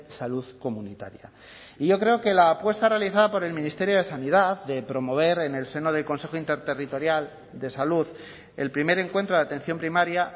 salud comunitaria y yo creo que la apuesta realizada por el ministerio de sanidad de promover en el seno del consejo interterritorial de salud el primer encuentro de atención primaria